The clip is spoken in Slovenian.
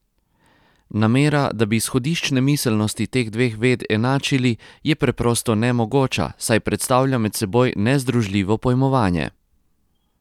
Namera, da bi izhodiščne miselnosti teh dveh ved enačili, je preprosto nemogoča, saj predstavlja med seboj nezdružljivo pojmovanje!